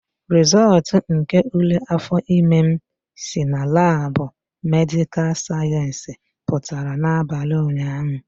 Rịzọltu nke ule afọ ime m si na laabu medịkal sayensị pụtara n'abalị ụnyahụ